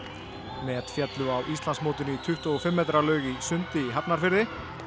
met féllu á Íslandsmótinu í tuttugu og fimm metra laug í sundi í Hafnarfirði